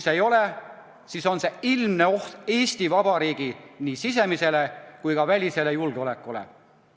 See on ilmne oht nii Eesti Vabariigi sisemisele kui ka välisele julgeolekule.